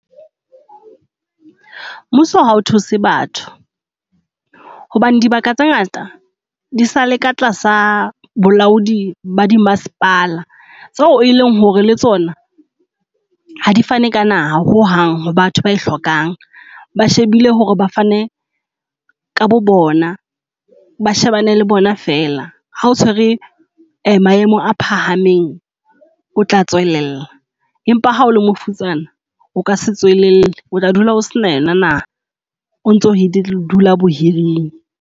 Mmuso ha o thuse batho hobane dibaka tse ngata di sa le ka tlasa bolaodi ba dimasepala, tseo eleng hore le tsona ha di fane ka naha ho hang ho batho ba e hlokang. Ba shebile hore ba fane ka bo bona ba shebane le bona fela. Ha o tshwere maemo a phahameng, o tla tswelella, empa ha o le mafutsana, o ka se tswelelle. O tla dula o se na yona naha. Ontso o dula bohiring.